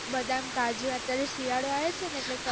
બદામ, કાજુ અત્યારે શીયાળો આયો છે ને